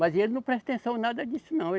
Mas ele não presta atenção em nada disso não.